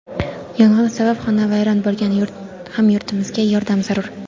Yong‘in sabab xonavayron bo‘lgan hamyurtimizga yordam zarur.